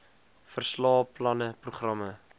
verslae planne programme